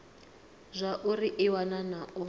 zwauri i wana na u